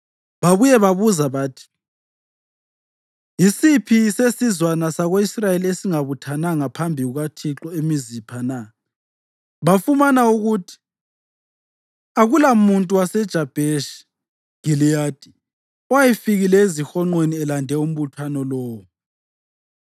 Babuye babuza bathi, “Yisiphi sezizwana zako-Israyeli esingabuthananga phambi kukaThixo eMizipha na?” Bafumana ukuthi akulamuntu waseJabheshi Giliyadi owayefikile ezihonqweni elande umbuthano lowo.